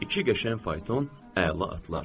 İki qəşəng fayton, əla atlar.